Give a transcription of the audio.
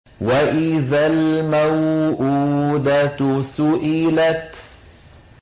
وَإِذَا الْمَوْءُودَةُ سُئِلَتْ